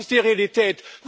Das ist die Realität.